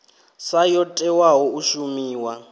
sa yo tewaho u shumiwa